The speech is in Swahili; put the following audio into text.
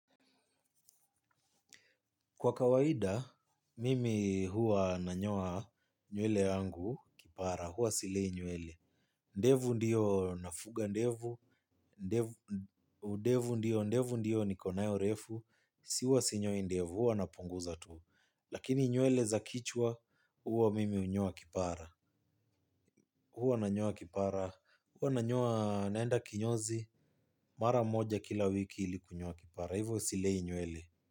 Kwa kawaida, mimi huwa nanyoa nywele yangu, kipara, huwa silei nywele. Ndevu ndio nafuga ndevu, ndevu ndio, ndevu ndio niko nayo refu, huwa sinyoi ndevu, huwa napunguza tu. Lakini nywele za kichwa, huwa mimi hunyoa kipara. Huwa nanyoa kipara, huwa nanyoa naenda kinyozi, mara moja kila wiki ili kunyoa kipara, hivo silei nywele.